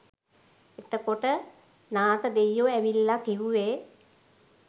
එතකොට නාථ දෙයියො ඇවිල්ලා කිවුවෙ